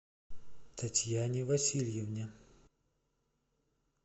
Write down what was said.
татьяне васильевне